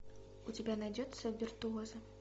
у тебя найдется виртуозы